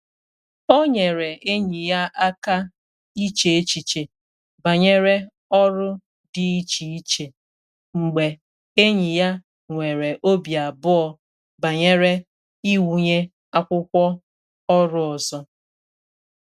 O nyere enyi ya aka iche echiche banyere ọrụ dị iche iche mgbe enyi ya nwere obi abụọ banyere iwunye akwụkwọ ọru ọzọ.